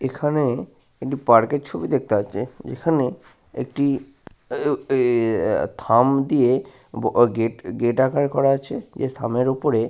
এইখানে একটি পার্ক - এর ছবি দেখতে পাচ্ছি । এইখানে একটি উম ম থাম দিয়ে বা গেট আকার করা আছে থামের ওপরে ।